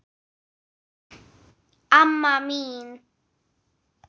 Amma mín.